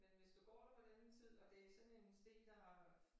Men hvis du går der på denne tid og det sådan en sti der